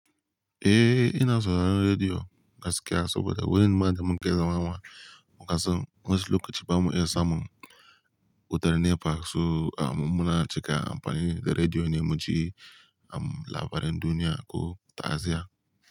Eh, ina sauraron rediyo gaskiya saboda wurin ma da muke zama ma muka san wasu lokaci bamu iya samun wutar nepa, so am muna cika amfani da rediyo ne mu ji am labaran duniya ko ta Asia.